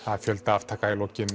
fjöldi aftaka í lokin